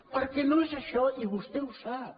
perquè no és això i vostè ho sap